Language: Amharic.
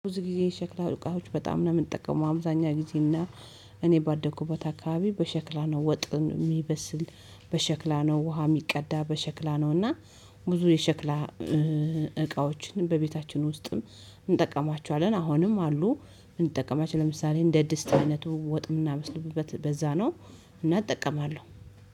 ብዙ ጊዜ ሸክላ እቃዎች በጣም ነው የምጠቀመው። አብዛኛው ጊዜና እኔ ባደኩ ቦታ አካባቢ በሸክላ ነው ወጥን የሚበስል በሸክላ ነው ውሃ የሚቀዳ በሸክላ ነው። እና ብዙ የሸክላ እቃዎችን በቤታችን ውስጥም እንጠቀማቸዋለን አሁንም አሉ። እንጠቀማች ለምሳሌ እንደ ድስት አይነቱ ወጥም እምናበስልበት በዛ ነው እና እጠቀማለሁ።